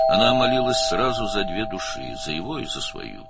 O, dərhal iki ruh üçün dua etdi: onun və öz ruhu üçün.